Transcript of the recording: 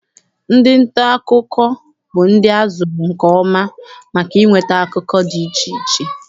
Ndị nta akụkọ bụ ndị a zụrụ nke ọma maka inweta akụkọ dị iche iche.